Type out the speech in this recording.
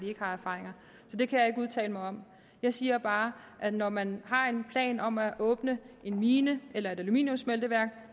har af erfaring så det kan jeg ikke udtale mig om jeg siger bare at når man har en plan om at åbne en mine eller et aluminiumssmelteværk